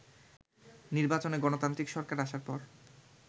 নির্বাচনে গণতান্ত্রিক সরকার আসার পর